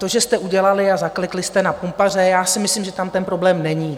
To, že jste udělali a zaklekli jste na pumpaře, já si myslím, že tam ten problém není.